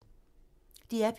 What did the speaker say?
DR P2